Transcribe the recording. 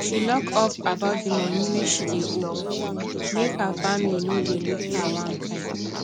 she lock up about the money wey she dey owe make her family no dey look her one kain